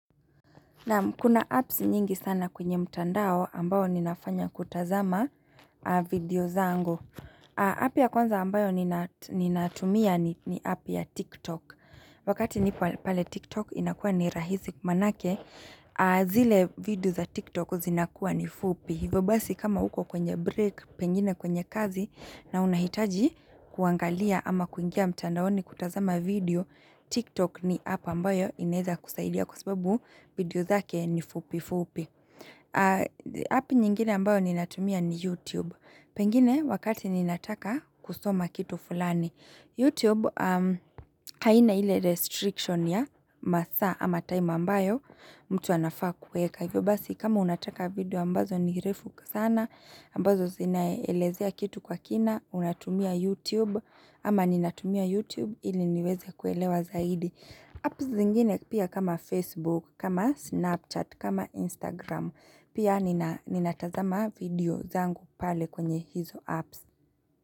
Naam kuna apps nyingi sana kwenye mtandao ambayo ninafanya kutazama video zangu. App ya kwanza ambayo ninatumia ni app ya TikTok. Wakati nipo pale TikTok inakua ni rahisi kwa manake, zile video za TikTok zinakua ni fupi. Hivo basi kama uko kwenye break, pengine kwenye kazi na unahitaji kuangalia ama kuingia mtandao ni kutazama video. TikTok ni app ambayo inaweza kusaidia kwa sababu video zake ni fupi fupi app nyingine ambayo ninatumia ni YouTube, pengine wakati ninataka kusoma kitu fulani. YouTube haina ile restriction ya masaa ama time ambayo mtu anafaa kuweka hivyo basi kama unataka video ambazo ni refu sana ambazo zinaelezea kitu kwa kina unatumia YouTube ama ninatumia YouTube ili niweze kuelewa zaidi apps zingine pia kama Facebook kama Snapchat kama Instagram pia ninatazama video zangu pale kwenye hizo apps.